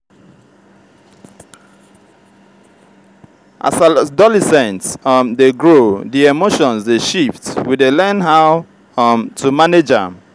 as adolescent um dey grow di emotions dey shift we dey learn how um to manage am.